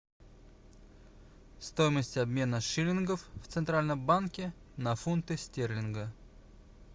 стоимость обмена шиллингов в центральном банке на фунты стерлингов